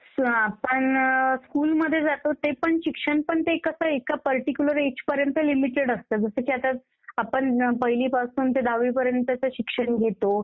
आपण स्कुल मध्ये जातो ते पण शिक्षण पण ते कसं एका पर्टिक्युलर एज पर्यंत लिमिटेड असतं. जसं की आता आपण पहिली पासून ते दहावी पर्यंतचं शिक्षण घेतो